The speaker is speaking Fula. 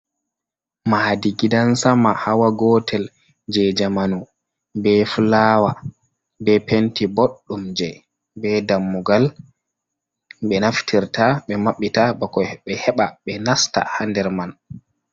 Mahadi gidan sama hawa gotel, je jamanu, be fulawa be penti, bodɗum je, ɓe dammugal be naftirta ɓe maɓɓita bako ɓe heɓa ɓe nasta ha nder man.